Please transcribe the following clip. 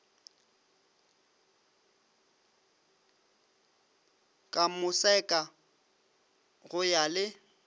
ka moseka go ya le